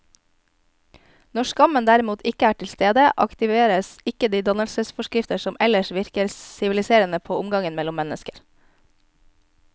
Når skammen derimot ikke er til stede, aktiveres ikke de dannelsesforskrifter som ellers virker siviliserende på omgangen mellom mennesker.